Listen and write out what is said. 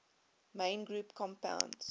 main group compounds